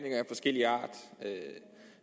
forskellig art